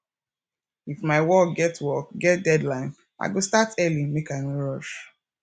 if my work get work get deadline i go start early make i no rush